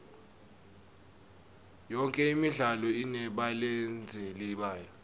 yonke imidlalo inebalandzeli bayo